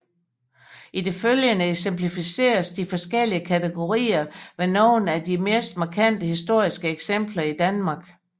I det følgende eksemplificeres de forskellige kategorier ved nogle af de mest markante historiske eksempler i Danmark